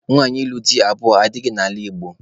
Nwaanyị ịlụ di abụọ adịghị n'ala Igbo